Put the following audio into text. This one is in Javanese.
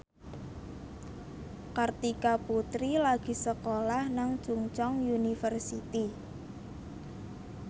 Kartika Putri lagi sekolah nang Chungceong University